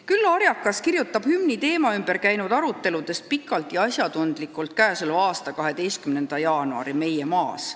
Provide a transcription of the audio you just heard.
Küllo Arjakas kirjutab hümni teema ümber käinud aruteludest pikalt ja asjatundlikult k.a 12. jaanuari Meie Maas.